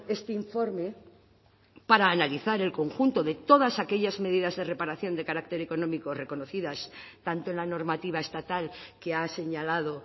este informe para analizar el conjunto de todas aquellas medidas de reparación de carácter económico reconocidas tanto en la normativa estatal que ha señalado